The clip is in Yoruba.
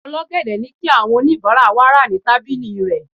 ol'ogede ni ki awọn onibara wa ra ni tábìlì rẹ